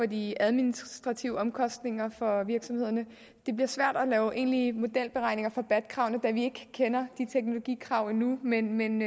de administrative omkostninger for virksomhederne det bliver svært at lave egentlige modelberegninger for bat kravene da vi ikke kender teknologikravene endnu men man